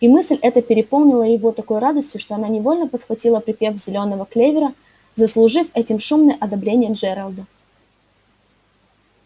и мысль эта переполнила его такой радостью что она невольно подхватила припев зелёного клевера заслужив этим шумное одобрение джералда